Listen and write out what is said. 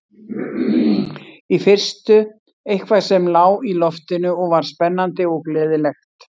Í fyrstu eitthvað sem lá í loftinu og var spennandi og gleðilegt.